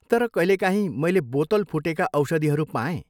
तर कहिलेकाहीँ मैले बोतल फुटेका औषधिहरू पाएँ।